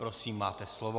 Prosím, máte slovo.